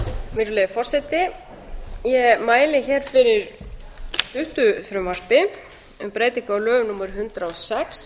virðulegi forseti ég mæli hér fyrir stuttu frumvarpi um breytingu á lögum númer hundrað